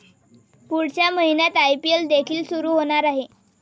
पुढच्या महिन्यात आयपीएल देखील सुरू होणार आहे.